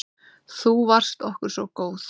Þú varst okkur svo góð.